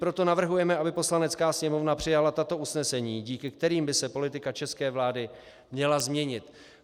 Proto navrhujeme, aby Poslanecká sněmovna přijala tato usnesení, díky kterým by se politika české vlády měla změnit.